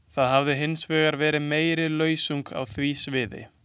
Það hefur hins vegar verið meiri lausung á því sviði.